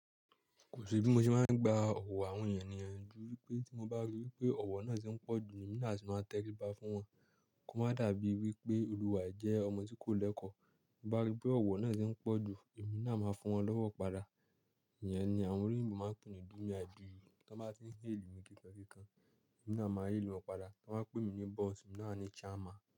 Kò sí bí mo ṣe máa ń gba ọ̀wọ́ àwọn ènìyàn nìyẹn ju wípé tí mo bá rí wípé ọ̀wọ́ náà ṣe ń pọ̀jù, èmi náà sì máa tẹ ríba fún wọn. Kò máa dàbí wípé olùwà e jẹ́ ọmọ tí kò lẹ́kọ̀ọ́. Tí mo bá rí pé ọ̀wọ́ náà ti ń pọ̀jù, èmi náà máa fún wọn lọ́wọ́ padà. Ìyẹn ni àwọn olóyinbó máa ń pè ní do me i do you. Tó bá ti ń hail mi ki kan ki kan, èmi náà máa hail wọn padà. Tí wọ́n bá pè mí ní boss, èmi náà ni chairman.